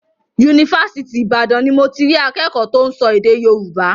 Yunifásitì Ìbàdàn ni mo ti rí akẹ́kọ̀ọ́ tó ń sọ èdè Yorùbá.